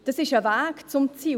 Das ist ein Weg zum Ziel.